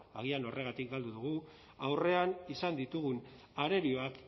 agian horregatik galdu dugu aurrean izan ditugun arerioak